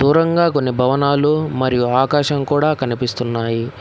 గుండ్రంగా కొన్ని భవనాలు మరియు ఆకాశం కూడా కనిపిస్తున్నాయి.